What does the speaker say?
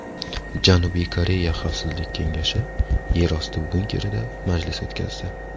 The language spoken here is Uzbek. Janubiy Koreya xavfsizlik kengashi yerosti bunkerida majlis o‘tkazdi.